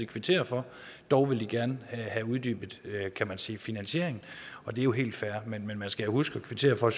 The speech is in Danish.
kvitterer for dog vil de gerne have uddybet kan man sige finansieringen og det er jo helt fair men man skal jo huske at kvittere for